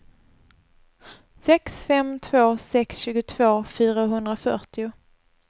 sex fem två sex tjugotvå fyrahundrafyrtio